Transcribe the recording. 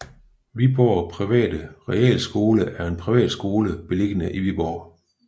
Viborg Private Realskole er en privatskole beliggende i Viborg